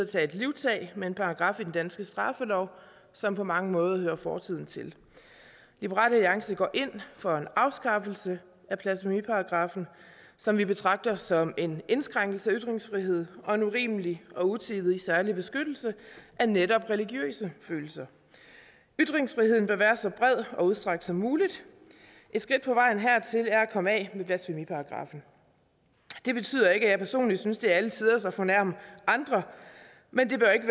at tage et livtag med en paragraf i den danske straffelov som på mange måder hører fortiden til liberal alliance går ind for en afskaffelse af blasfemiparagraffen som vi betragter som en indskrænkning af ytringsfriheden og en urimelig og utidig særlig beskyttelse af netop religiøse følelser ytringsfriheden bør være så bred og udstrakt som muligt et skridt på vejen hertil er at komme af med blasfemiparagraffen det betyder ikke at jeg personligt synes det er alle tiders at fornærme andre men det bør ikke